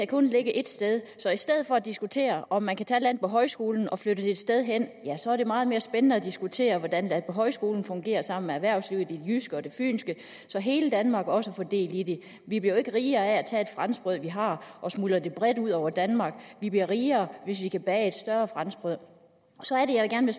kun ligge ét sted så i stedet for at diskutere om man kan tage landbohøjskolen og flytte den et sted hen er det meget mere spændende at diskutere hvordan landbohøjskolen fungerer sammen med erhvervslivet i det jyske og det fynske så hele danmark også får del i det vi bliver jo ikke rigere af at tage det franskbrød vi har og smuldre det bredt ud over danmark vi bliver rigere hvis vi kan bage et større franskbrød så er det jeg gerne